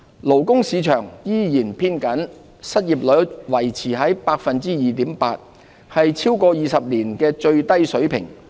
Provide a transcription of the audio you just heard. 勞工市場依然偏緊，失業率維持在 2.8%， 是超過20年的最低水平。